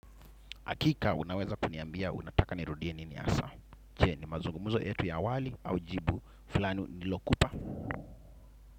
Hakika, unaweza kuniambia, unataka nirudie nini hasa. Je, ni mazungumuzo yetu ya awali au jibu, fulani nilokupa.